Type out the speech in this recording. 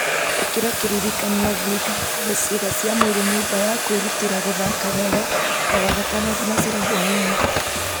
ĩkĩra kĩririkania thiĩ nganogore ciĩga cia mwĩrĩ nyũmba ya kwĩrũtĩra gũthaka wega o wagatano thinacara hwaĩ-inĩ